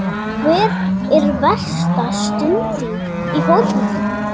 Hver er versta stund þín í fótboltanum?